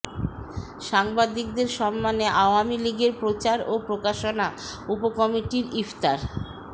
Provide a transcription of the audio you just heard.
সাংবাদিকদের সম্মানে আওয়ামী লীগের প্রচার ও প্রকাশনা উপকমিটির ইফতার